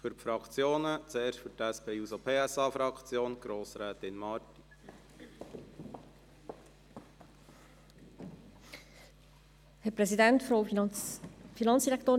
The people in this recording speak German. Für die Fraktionen gebe ich zuerst Grossrätin Marti von der SP-JUSO-PSA-Fraktion das Wort.